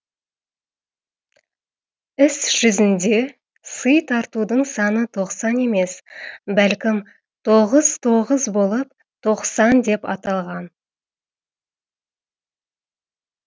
іс жүзінде сый тартудың саны тоқсан емес бәлкім тоғыз тоғыз болып тоқсан деп аталған